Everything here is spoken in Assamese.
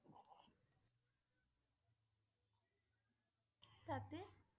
তাতে?